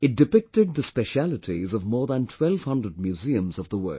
It depicted the specialities of more than 1200 museums of the world